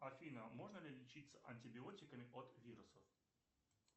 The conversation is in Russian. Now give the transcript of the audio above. афина можно ли лечится антибиотиками от вирусов